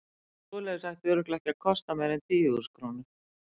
Ég held að svoleiðis ætti örugglega ekki að kosta meira en tíu þúsund krónur.